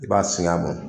I b'a singan